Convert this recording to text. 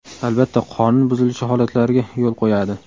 Albatta, qonun buzilishi holatlariga yo‘l qo‘yadi.